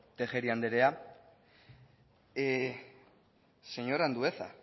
tejeria andrea señor andueza